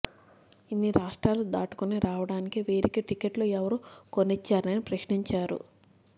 ఇన్ని రాష్ట్రాలు దాటుకుని రావడానికి వీరికి టికెట్లు ఎవరు కొనిచ్చారని ప్రశ్నించారు